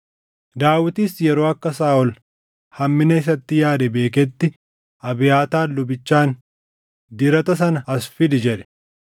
Daawitis yeroo akka Saaʼol hammina isatti yaade beeketti Abiyaataar lubichaan, “Dirata sana as fidi” jedhe.